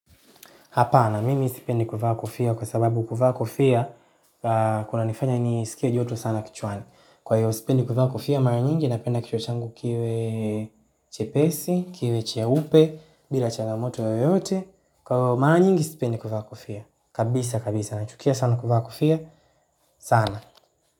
Hapana, mimi sipendi kuvaa kofia kwa sababu kuvaa kofia, kunanifanya nisikie joto sana kichwani. Kwa hiyo, sipendi kuvaa kofia, mara nyingi napenda kichwa changu kiwe chepesi, kiwe cheupe, bila changamoto yoyote. Mara nyingi sipendi kuvaa kofia. Kabisa, kabisa. Nachukia sana kuvaa kufia. Sana.